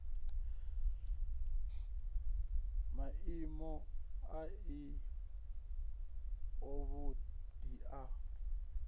maimo a si avhuḓi a